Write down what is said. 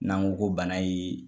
N'an ko ko bana in ye